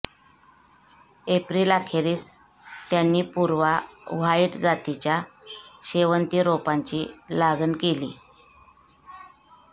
एप्रिलअखेरीस त्यांनी पूर्वा व्हाईट जातीच्या शेवंती रोपांची लागण केली